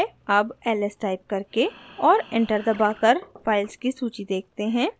अब ls type करके और enter दबाकर files की सूची देखते हैं